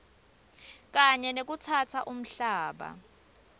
kanye nekutsatsa umhlaba